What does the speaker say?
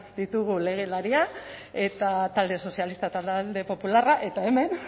ditugu legelariak eta talde sozialista eta talde popularra eta hemen